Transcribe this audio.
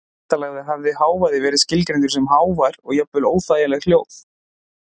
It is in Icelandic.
Væntanlega hefði hávaði verið skilgreindur sem hávær og jafnvel óþægileg hljóð.